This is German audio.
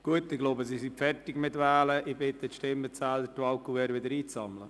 Wir fahren fort mit den Geschäften der FIN.